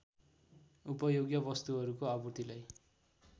उपभोग्य वस्तुहरूको आपूर्तिलाई